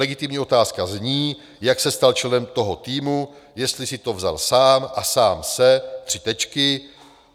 Legitimní otázka zní, jak se stal členem toho týmu, jestli si to vzal sám a sám se...